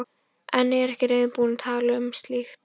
En er ekki reiðubúin að tala um slíkt.